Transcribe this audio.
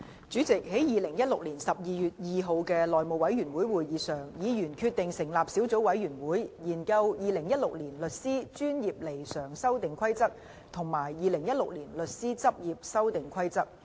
主席，在2016年12月2日的內務委員會會議上，議員決定成立小組委員會，研究《2016年律師規則》及《2016年律師執業規則》。